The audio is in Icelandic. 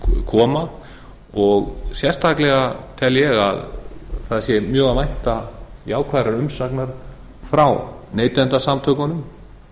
koma og sérstaklega tel ég að það sé mjög að vænta jákvæðrar umsagnar frá neytendasamtökunum